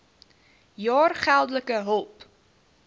jaar geldelike hulp